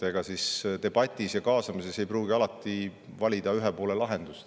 Ega debatis ja kaasamises ei pruugi alati valida ühe poole lahendust.